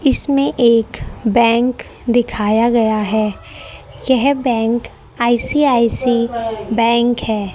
इसमें एक बैंक दिखाया गया है यह बैंक आई_सी_आई_सी बैंक बैंक है।